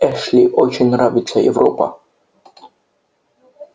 эшли очень нравится европа